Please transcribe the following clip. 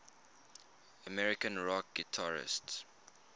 american rock guitarists